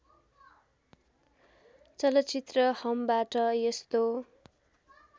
चलचित्र हमबाट यस्तो